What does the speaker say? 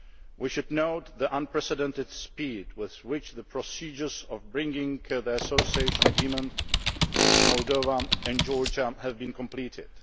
We should note the unprecedented speed with which the procedures bringing the Association Agreements with Moldova and Georgia have been completed.